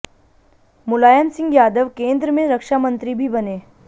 मुलायम सिंह यादव केन्द्र में रक्षा मंत्री भी बने